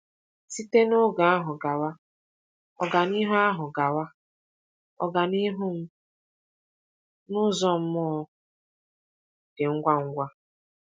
Site n’oge ahụ gawa, ọganihu ahụ gawa, ọganihu m n’ụzọ mmụọ dị ngwa ngwa.